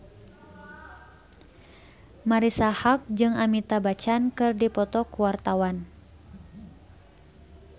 Marisa Haque jeung Amitabh Bachchan keur dipoto ku wartawan